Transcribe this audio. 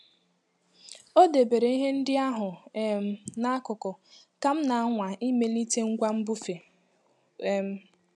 O debere ihe ndị ahụ um n'akụkụ ka m na-anwa imelite ngwa mbufe. um